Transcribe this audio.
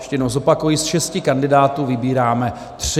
Ještě jednou zopakuji, ze šesti kandidátů vybíráme tři.